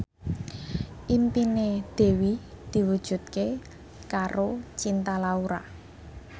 impine Dewi diwujudke karo Cinta Laura